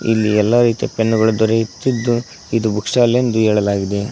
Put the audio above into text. ಇಲ್ಲಿ ಎಲ್ಲ ರೀತಿ ಪೆನ್ ಗಳು ದೊರೆಯುತ್ತಿದ್ದು ಇದು ಬುಕ್ ಸ್ಟಾಲ್ ಎಂದು ಹೇಳಲಾಗಿದೆ.